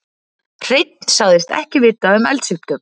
Hreinn sagðist ekki vita um eldsupptök